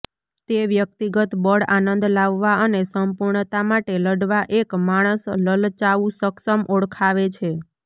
તે વ્યક્તિગત બળ આનંદ લાવવા અને સંપૂર્ણતા માટે લડવા એક માણસ લલચાવું સક્ષમ ઓળખાવે છે